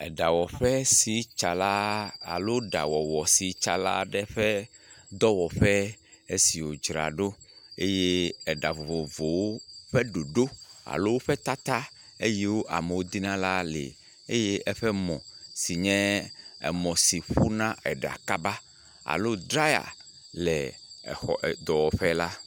Eɖawɔƒe si tsala alo aɖawɔwɔ sitsala aɖe ƒe dɔwɔƒe esi wo dzra ɖo, eye eɖa vovovowo ƒe ɖoɖo alo ƒe tata yike amewo di na la le eye eƒe mɔ sinye emɔ si ƒu na eɖa kaba alo dryer le exɔ, edɔwɔƒe la.